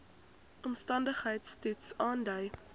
omstandigheids toets aandui